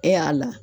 E y'a la